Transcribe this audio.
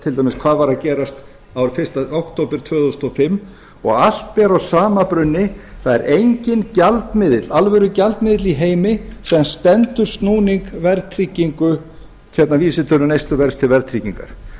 til dæmis skoðað hvað var að gerast fyrsta október tvö þúsund og fimm og allt ber að sama brunni það er enginn alvöru gjaldmiðill í heimi sem stendur snúning vísitölu neysluverðs til